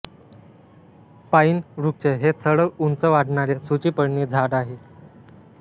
पाईन वृक्ष हे सरळ उंच वाढणारे सुचिपर्णी झाड आहे